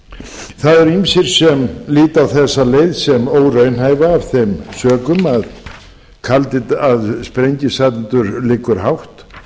það eru ýmsir sem líta á þessa leið sem óraunhæfa af þeim sökum að sprengisandur liggur hátt